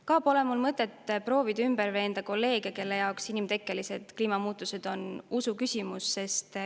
Ka pole mul mõtet proovida ümber veenda kolleege, kelle jaoks inimtekkelised kliimamuutused on usuküsimus.